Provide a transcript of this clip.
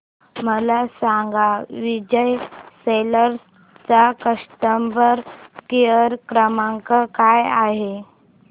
मला सांगा विजय सेल्स चा कस्टमर केअर क्रमांक काय आहे